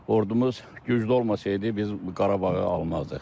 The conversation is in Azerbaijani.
Ordumuz güclü olmasaydı, biz Qarabağı almazdıq.